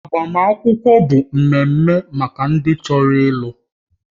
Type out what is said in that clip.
Agbamakwụkwọ bụ ememe maka ndị chọrọ ịlụ